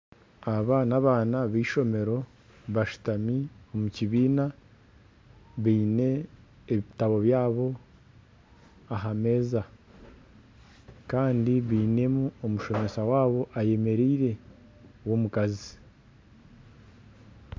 Aba n'abaana b'eishomero bashitami omu kibiina beine ebitabo byabo aha meeza Kandi bainemu omushomesa waabo ayemereire w'omukazi.